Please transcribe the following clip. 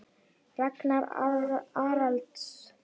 Ragnar Arnalds